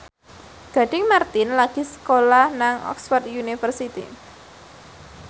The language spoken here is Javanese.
Gading Marten lagi sekolah nang Oxford university